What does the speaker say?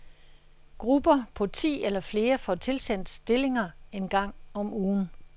Grupper på ti eller flere får tilsendt stillinger en gang om ugen.